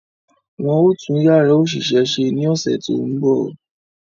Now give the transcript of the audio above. Wọ́n ó tún Yàrá òṣìṣẹ́ ṣe ní ọ̀sẹ̀ tó ń bọ̀